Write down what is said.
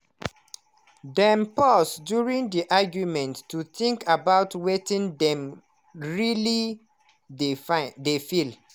dem pause during the argument to think about wetin dem really dey find dey feel.